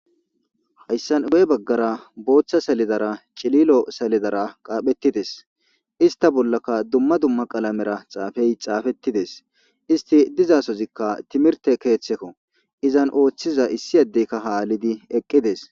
Haysan guye bagara bootha saledara cililo saledara qaapherides ista bollaka duma duma qalamera xaafey xaafetides isti diza so'ozika timirte keetheko izan oothiza issi adeka haalidi eqides.